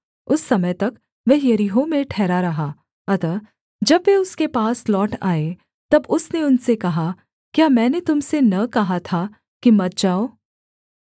उस समय तक वह यरीहो में ठहरा रहा अतः जब वे उसके पास लौट आए तब उसने उनसे कहा क्या मैंने तुम से न कहा था कि मत जाओ